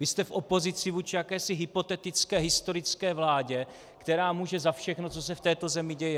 Vy jste v opozici vůči jakési hypotetické historické vládě, která může za všechno, co se v této zemi děje.